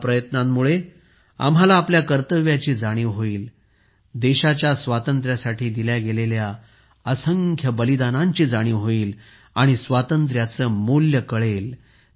या प्रयत्नांमुळे आम्हाला आपल्या कर्तव्याची जाणीव होईल देशाच्या स्वातंत्र्यासाठी दिल्या गेलेल्या असंख्य बलिदानांची जाणीव होईल आणि स्वातंत्र्याचे मूल्य कळेल